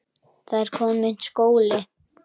Það er kominn skóli.